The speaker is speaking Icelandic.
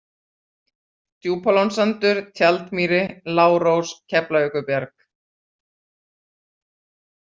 Djúpalónssandur, Tjaldmýri, Lárós, Keflavíkurbjarg